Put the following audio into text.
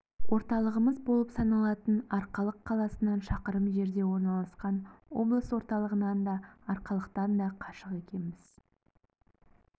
орталығымыз болып саналатын арқалық қаласынан шақырым жерде орналасқан облыс орталығынан да арқалықтан да қашық екенбіз